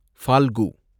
Phalgu